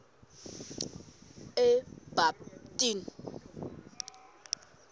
ebabtini